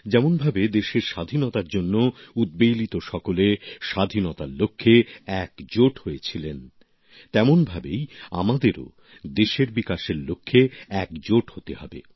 যেমনভাবে দেশের স্বাধীনতার জন্য উদ্বেলিত সকলে স্বাধীনতার লক্ষ্যে একজোট হয়েছিলেন তেমনভাবেই আমাদেরও দেশের বিকাশের লক্ষ্যে একজোট হতে হবে